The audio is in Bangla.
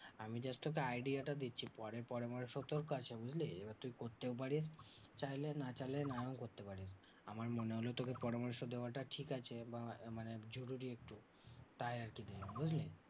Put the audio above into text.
আমি just তোকে idea টা দিচ্ছি পরের পরামর্শতেও কাজ বুঝলি? এবার তুই করতেও পারিস চাইলে না চাইলে নাও করতে পারিস। আমার মনে হলো তোকে পরামর্শ দেওয়াটা ঠিকআছে বা মানে জরুরি তাই আরকি দিলাম বুঝলি?